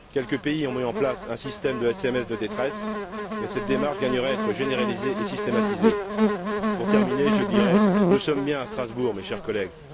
Quelques pays ont mis en place un système de sms de détresse, mais cette démarche gagnerait à être généralisée et systématisée. Pour terminer, je dirai ceci nous sommes bien à Strasbourg, mes chers collègues.